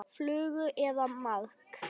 Flugu eða maðk.